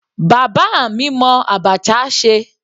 Bàbá mi mọ abacha ṣe.